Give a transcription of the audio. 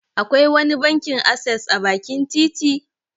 Akwai wani bankin asses a bakin titi?